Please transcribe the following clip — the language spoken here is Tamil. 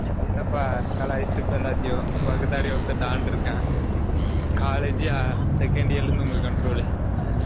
என்ன பா கலாய்சிட்டு இருப்ப எல்லாதையும் பகுடாடி ஒருதன் don இருக்கான் college ஏ second year ல இருந்து உங்க control